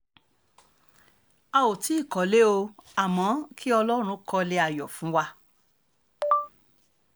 a ò tí ì kọ́lé o àmọ́ kí ọlọ́run kọ́lé ayọ̀ fún wa